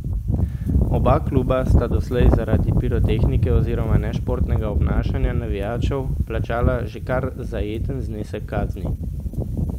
Oba kluba sta doslej zaradi pirotehnike oziroma nešportnega obnašanja navijačev plačala že kar zajeten znesek kazni.